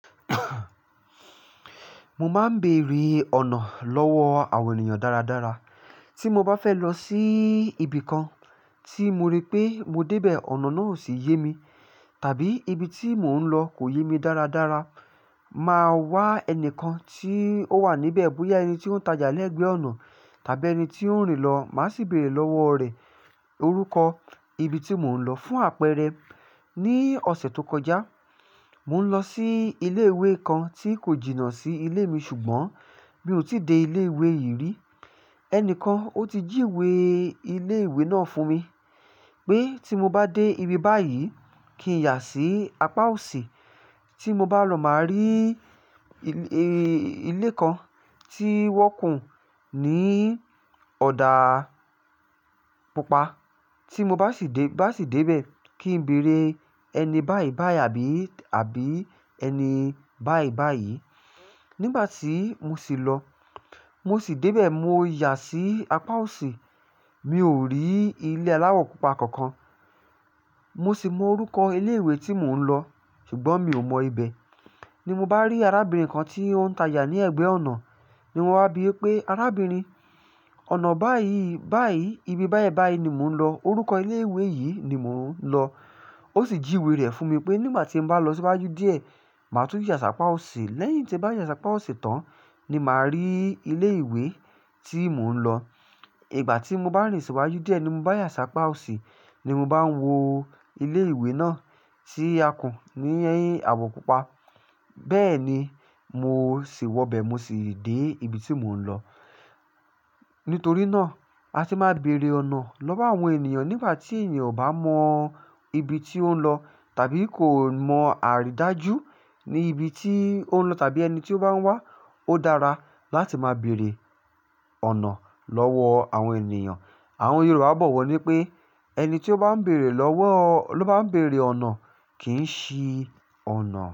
Mo máa ń bèèrè ọ̀nà lọ́wọ́ àwọn ènìyàn dáradára. Tí mo bá fẹ́ lọ sí ibi kan tí mo rí pé mo débẹ̀, ọ̀nà náà ò sì yé mi, tàbí ibi tí mò ń lọ kò yé mi dáradára, màá wá ẹnìkan tí ó wà níbẹ̀. Bóyá ẹni tí ó ń tajà lẹ́gbẹ̀ẹ́ ọ̀nà tàbí ẹni tí ó ń rìn lọ. Màá sì bèèrè lọ́wọ́ rẹ̀ orúkọ ibi tí mò ń lọ fún àpẹẹrẹ. Ní ọ̀sẹ̀ tó kọjá, mò ń lọ sí ilé ìwé kan tí kò jìnnà sí ilé mi ṣùgbọ́n mi ò tíì dé ilé ìwé yìí rí. Ẹni kan ó ti jíwe ilé ìwé náà fún mi pé tí mo bá dé ibi báyìí, kí n yà sí apá òsì. Tí mo bá lọ, màá rí ilé kan tí wọ́n kùn ní ọ̀dà pupa. Tí mo bá sì dé, bá sì dé bẹ̀ kí n bèèrè ẹni báyìí báyìí àbí, àbí ẹni báyìí báyìí. Nígbà tí mo sì lọ, mo sì dé bẹ̀, mo yà sí apá òsì, mi ò rí ilé aláwọ̀ pupa kankan. Mo sì mọ orúkọ ilé ìwé tí mò ń lọ ṣùgbọ́n mi ò mọ ibẹ̀. Ni mo bá rí arábìnrin kan tí ó ń tajà ní ẹ̀gbẹ́ ọ̀nà ni mo wá bí pé, "Arábìnrin, ọ̀nà báyìí báyìí, ibi báyẹ̀ báyìí ni mò ń lọ. Orúkọ ilé ìwé yìí ni mò ń lọ." Ó sì jíwe rẹ̀ fún mi pé nígbà tí n bá lọ síwájú díẹ̀, màá tún yà sí apá òsì. Lẹ́yìn tí n bá yà sí apá òsì tán ni màá rí ilé ìwé tí mò ń lọ. Ìgbà tí mo bá rìn sìwájú díẹ̀ ni mo bá yà sí apá òsì ni mo bá ń wo ilé ìwé náà tí a kùn ní àwọ̀ pupa. Bẹ́ẹ̀ni mo sì wọbẹ̀, mo sì dé ibi tí mò ń lọ. Nítorí náà àti máa bèèrè ọ̀nà lọ́wọ́ àwọn ènìyàn. Nígbà tí ènìyàn ò bá mọ ibi tí ó ń lọ tàbí kò mọ àríìdájú ní ibi tí ó ń lọ tàbí ẹni tí ó bá ń wà, ó dára láti máa bèèrè ọ̀nà lọ́wọ́ àwọn ènìyàn. Àwọn Yorùbá bọ̀ wọ́ ní pé ẹni tí ó bá ń bèèrè lọ́wọ́, ló bá ń bèèrè ọ̀nà kì í ṣi ọ̀nà.